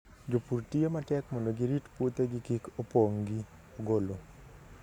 Jopur tiyo matek mondo gi rit puothegi kik opong' gi ogolo.